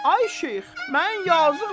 Ay şeyx, mən yazıqam.